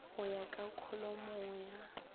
go ya ka kholomong ya